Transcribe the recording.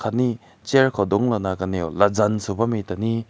ne chair ko dung na kanew laza subah ta ne.